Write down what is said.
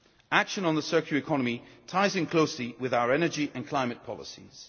Action on the circular economy ties in closely with our energy and climate policies.